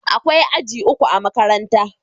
Akwai aji uku a makarantar.